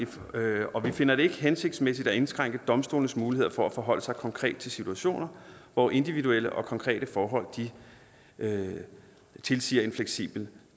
og vi finder det ikke hensigtsmæssigt at indskrænke domstolenes muligheder for at forholde sig konkret til situationer hvor individuelle og konkrete forhold tilsiger en fleksibel